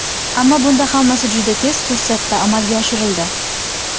Ammo bunda hammasi juda tez fursatda amalga oshirildi.